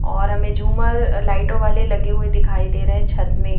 और हमें झूमर लाइटों वाले लगे हुए दिखाई दे रहे हैं छत में।